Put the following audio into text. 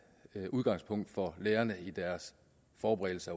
udgangspunkt for lærerne i deres forberedelse